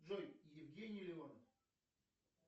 джой евгений леонов